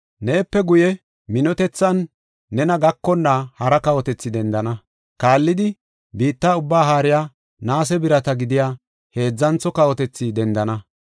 “Neepe guye, minotethan nena gakonna hara kawotethi dendana. Kaallidi, biitta ubbaa haariya, naase birata gidiya, heedzantho kawotethi dendana.